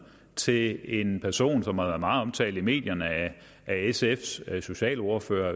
til en person som har været meget omtalt i medierne af sfs socialordfører